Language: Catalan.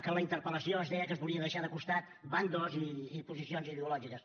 que en la interpel·lació es deia que es volien deixar de costat bàndols i posicions ideològiques